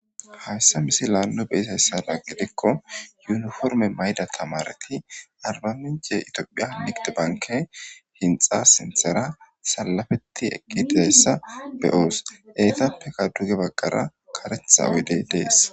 Hayssa misilan nu beyizayssada gidikko yuniporime mayida tamaaretti arbamincce itophphiya nigide bankke hinxa sinththara saalapetti eeqidi dizayssa be'os eettappekka duge baggara kareththa oyiddey dees